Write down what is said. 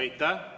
Aitäh!